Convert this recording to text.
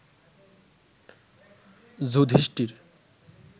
Yudhishthir